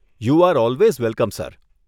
You are always welcome sir.